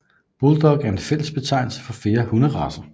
Bulldog er en fællesbetegnelse for flere hunderacer